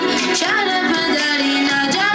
Çəhrə Pədəriyə Nəcəf.